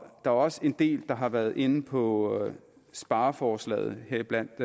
er også en del der har været inde på spareforslaget heriblandt